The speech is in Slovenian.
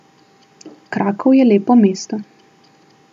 Krakov je lepo mesto.